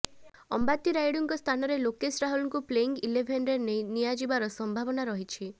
ଅମ୍ବାତି ରାୟୁଡୁଙ୍କ ସ୍ଥାନରେ ଲୋକେଶ ରାହୁଲଙ୍କୁ ପ୍ଲେଇଂ ଇଲେଭେନ୍ରେ ନିଆଯିବାର ସମ୍ଭାବନା ରହିଛି